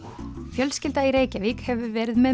fjölskylda í Reykjavík hefur verið með